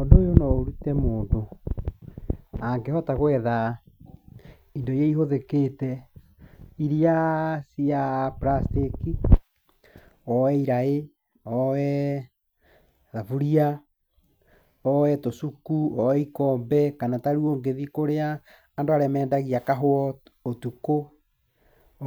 Ũndũ ũyũ no ũrute mũndũ angĩhota gwetha indo iria ihũthĩkĩte, iria cia plastic, oe iraĩ, oe thaburia, oe tũcuku, oe ikombe kana ta rĩu ũngĩthiĩ kũrĩa andũ arĩa mendagia kahũa ũtukũ,